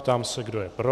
Ptám se, kdo je pro.